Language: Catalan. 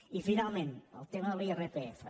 i finalment el tema de l’irpf